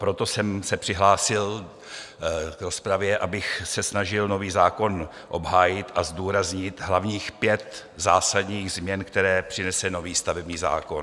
Proto jsem se přihlásil v rozpravě, abych se snažil nový zákon obhájit a zdůraznit hlavních pět zásadních změn, které přinese nový stavební zákon.